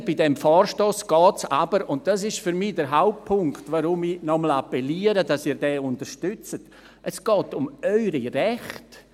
Ich finde, bei diesem Vorstoss gehe es aber – das ist für mich der Hauptpunkt, weswegen ich noch einmal an Sie appelliere, dass Sie diesen unterstützen – um Ihre Rechte.